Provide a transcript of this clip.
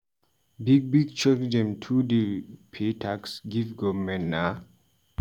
Big big church dem too dey pay tax give government na.